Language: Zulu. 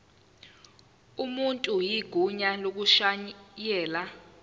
umuntu igunya lokushayela